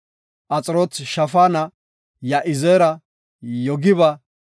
Axiroot-Shafaana, Ya7izeera, Yogiba,